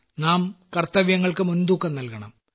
നാം കർത്തവ്യങ്ങൾക്കു മുൻതൂക്കം നൽകണം